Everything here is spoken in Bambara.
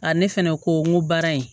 A ne fɛnɛ ko n ko baara in